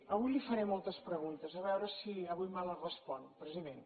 avui li faré moltes preguntes a veure si avui me les respon president